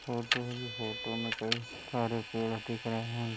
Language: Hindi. फोटो है। फोटो में कई सारे पेड़ दिख रहे हैं।